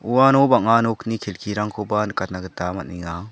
uano bang·a nokni kelkirangkoba nikatna gita man·enga.